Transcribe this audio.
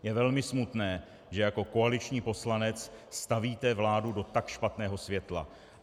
Je velmi smutné, že jako koaliční poslanec stavíte vládu do tak špatného světla.